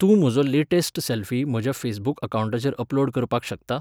तूं म्हजो latest selfie म्हज्या फेसबूक अकावंटाचेर अपलोड करपाक शकता?